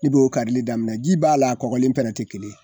I b'o karili daminɛ ji b'a la kɔkɔlen pɛnɛ ti kelen ye